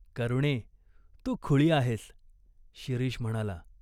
"करुणे, तू खुळी आहेस." शिरीष म्हणाला.